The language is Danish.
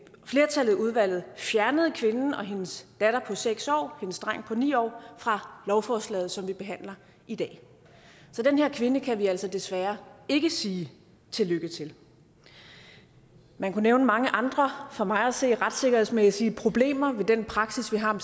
flertallet af udvalget fjernede kvinden og hendes datter på seks år og hendes dreng på ni år fra lovforslaget som vi behandler i dag så den her kvinde kan vi altså desværre ikke sige tillykke til man kunne nævne mange andre for mig at se retssikkerhedsmæssige problemer ved den praksis vi har om